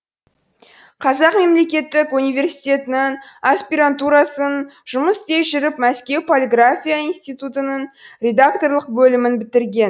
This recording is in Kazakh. қазақ мемлекеттік университетінің аспирантурасын жұмыс істей жүріп мәскеу полиграфия институтының редакторлық бөлімін бітірген